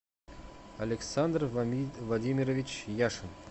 александр владимирович яшин